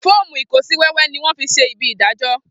Foomu ikosiwewe ni wón se ní ibi idajo